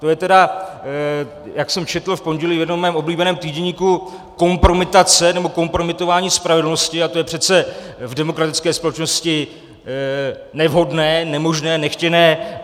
To je tedy, jak jsem četl v pondělí v jednom svém oblíbeném týdeníku, kompromitace, nebo kompromitování spravedlnosti a to je přece v demokratické společnosti nevhodné, nemožné, nechtěné.